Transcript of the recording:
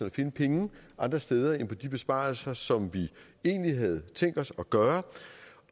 at finde penge andre steder end på de besparelser som vi egentlig havde tænkt os at gøre